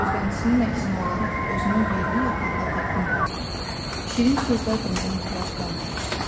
Gözləntisinin əksinə olaraq özünü yerli yataqlı təqdim eləməyə, şirin sözlər deməyə ehtiyac qalmamışdı.